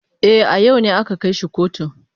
E, a yau ne aka kai shi kotu.